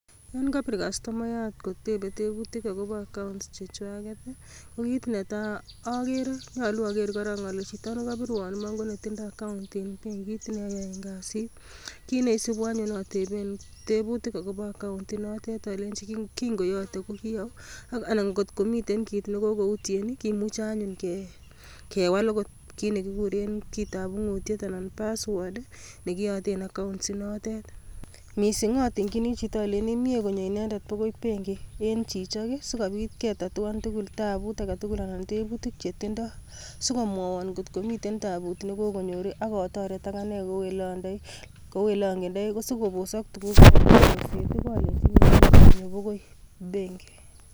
Nyon kobiir kastomayaat kotebe, teebutik akobo accounts chechwaket ,ko kit netai agere. Nyoluu oker korong ole chito nekobirwon Iman ko netindoi account en benkit neoyoen kasit. Kit neisibu anyun atebeen, tebutik akobo akoun inotet alenyii kin koyoote ko kii ou, anan ngot komitem kit nekokoutien, kimuche anyun kewal okot. Kit nekikuuren kitaab ung'utiet anan password nekiyooten akoun inotet. Missing atingyiini chito olenyiini, mie komye inendet boko benkii en chichok, sikobiit ketatuan taabut anan tebutiik chetindoi sikomwowon kot komiten taabut nekokonyoor, akotoret akane kou elongendee. Kosiikobosok ngalekab chorset alenyiini konyoon bokoi benkii